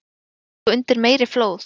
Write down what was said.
Búa sig undir meiri flóð